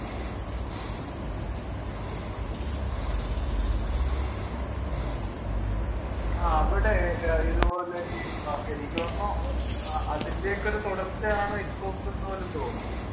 ആ അവിടെ ഇതുപോലെ ഇ എനിക്ക് തോന്നുന്നു അതിൻറെയൊക്കെ ഒരു തുടർച്ചയാണ് ITFOK എന്ന്പോലും തോന്നുന്നു